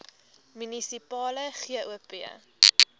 munisipale gop